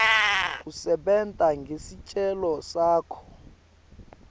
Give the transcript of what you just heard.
kusebenta ngesicelo sakho